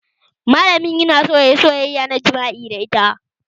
Malamin yana so yayi soyayya ta jima'i da ita